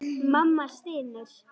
Mamma stynur.